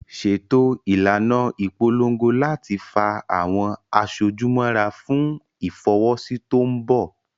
Ṣètò ìlànà ìpolongo láti fa àwọn aṣojú mọ́ra fún Ìfọwọ́sí tó mbọ̀